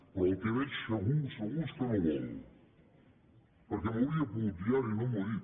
però el que veig segur segur és que no vol perquè m’ho hauria pogut dir ara i no m’ho ha dit